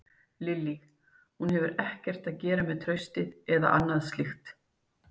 Lillý: Hún hefur ekkert að gera með traustið eða annað slíkt?